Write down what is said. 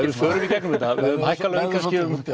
förum í gegnum þetta þá höfum við hækkað laun um